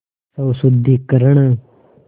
स्वशुद्धिकरण